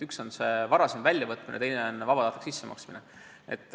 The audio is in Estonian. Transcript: Üks on see raha varasem väljavõtmine, teine on vabatahtlik sissemaksmine.